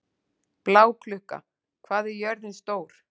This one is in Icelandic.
Bláklukka, hvað er jörðin stór?